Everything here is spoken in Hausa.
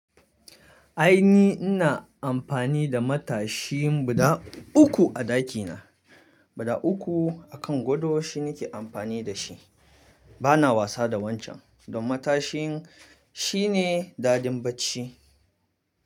Ai ni ina amfani da matashin bada uku a ɗakina. Bada uku akan gado shine ke amfani da shi. Bana wasa da wancan dan matashin shine dadin bacci.